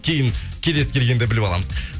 кейін келесі келгенде біліп аламыз